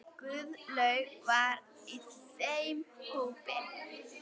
Guðlaug var í þeim hópi.